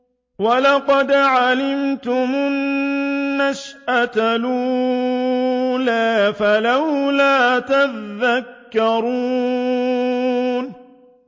وَلَقَدْ عَلِمْتُمُ النَّشْأَةَ الْأُولَىٰ فَلَوْلَا تَذَكَّرُونَ